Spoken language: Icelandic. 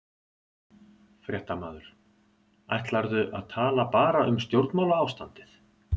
Fréttamaður: Ætlarðu að tala bara um stjórnmálaástandið?